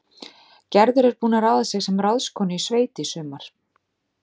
Gerður er búin að ráða sig sem ráðskonu í sveit í sumar